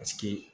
Paseke